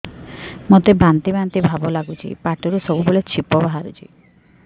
ମୋତେ ବାନ୍ତି ବାନ୍ତି ଭାବ ଲାଗୁଚି ପାଟିରୁ ସବୁ ବେଳେ ଛିପ ବାହାରୁଛି